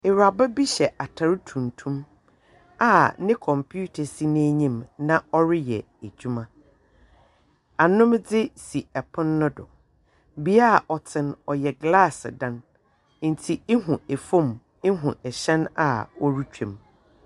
Ewuraba bi hyɛ atar tuntum a ne computer si n'enyim na ɔreyɛ edwuma. Anomdze si pon no do. Bea a ɔte no, ɔyɛ glaase dan, ntsi ihu fam, ihu ahyɛn a ɛretwam.